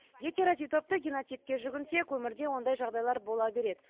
гетерозиготты генотипке жүгінсек өмірде ондай жағдайлар бола береді